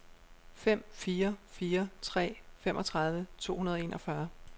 fem fire fire tre femogtredive to hundrede og enogfyrre